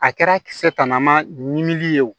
A kɛra kisɛ tannama ɲimi ye o